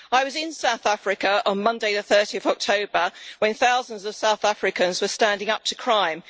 I was in South Africa on Monday 30 October, when thousands of South Africans were standing up to crime.